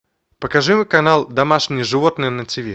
покажи канал домашние животные на тв